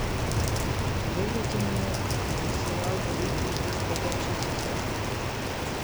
выведи мне сериал великий из бродячих псов